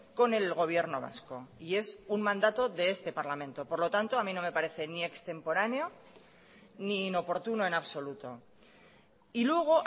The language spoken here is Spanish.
con el gobierno vasco y es un mandato de este parlamento por lo tanto a mí no me parece ni extemporáneo ni inoportuno en absoluto y luego